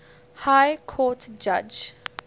high court judge